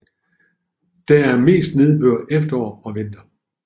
Der er mest nedbør efterår og vinter